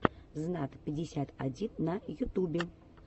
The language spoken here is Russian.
знат пятьдесят один на ютубе